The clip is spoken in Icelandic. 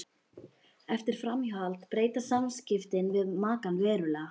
Eftir framhjáhald breytast samskiptin við makann verulega.